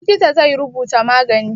Likita zai rubuta magani.